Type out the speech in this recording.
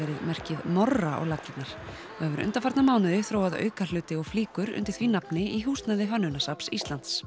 fatamerkið Morra á laggirnar og hefur undanfarna mánuði þróað fylgihluti og flíkur undir því nafni í húsnæði Hönnunarsafns Íslands